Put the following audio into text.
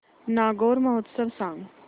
नागौर महोत्सव सांग